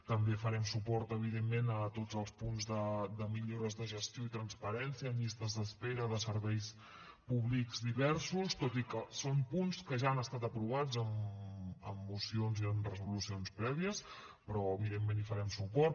també farem suport evidentment a tots els punts de millores de gestió i transparència en llistes d’espera de serveis públics diversos tot i que són punts que ja han estat aprovats en mocions i en resolucions prèvies però evidentment hi farem suport